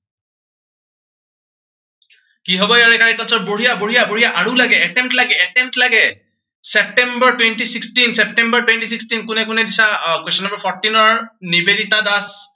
কি হব ইয়াৰে correct answer বঢ়িয়া বঢ়িয়া বঢ়িয়া আৰু লাগে, attempt লাগে attempt লাগে, September twenty sixteen September twenty sixteen কোনে কোনে দিছা, আহ question number fourteen ৰ কি হব correct answer নিবেদিতা দাস